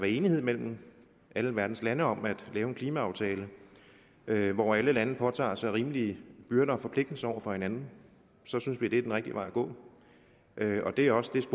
enighed mellem alle verdens lande om at lave en klimaaftale hvor alle lande påtager sig rimelige byrder og forpligtelser over for hinanden synes vi det er den rigtige vej at gå det er også det